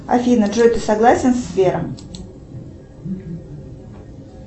афина джой ты согласен с сбером